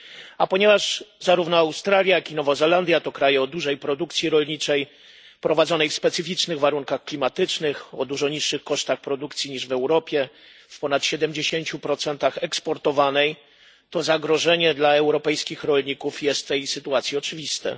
A ponieważ zarówno Australia, jak i Nowa Zelandia to kraje o dużej produkcji rolniczej, prowadzonej w specyficznych warunkach klimatycznych, o dużo niższych kosztach produkcji niż w Europie, w ponad 70 eksportowanej, zagrożenie dla europejskich rolników jest w tej sytuacji oczywiste.